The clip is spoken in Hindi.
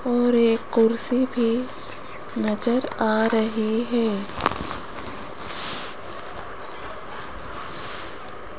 और एक कुर्सी भी नजर आ रही हैं।